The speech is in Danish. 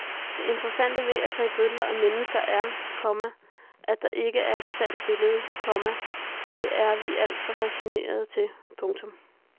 Det interessante ved at tage billeder af mennesker er, komma at der ikke er et sandt billede, komma det er vi alt for facetterede til. punktum